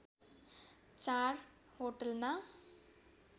चार होटलमा